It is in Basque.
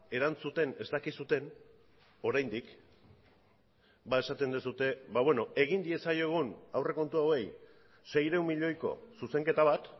erantzuten ez dakizuen oraindik esaten duzue egin diezaiogun aurrekontu hauei seiehun milioiko zuzenketa bat